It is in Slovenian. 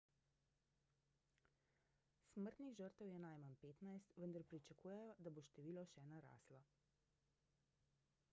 smrtnih žrtev je najmanj 15 vendar pričakujejo da bo število še naraslo